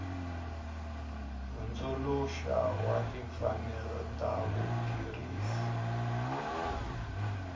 hundzuluxa wa timfanelo ta vakurisi